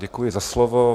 Děkuji za slovo.